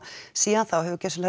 síðan þá hefur gjörsamlega